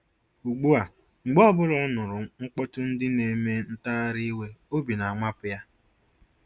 Ugbu a, mgbe ọ bụla ọ nụrụ mkpọtụ́ndị nq-eme ntagharị iwe obi na-amapụ ya.